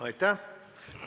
Aitäh!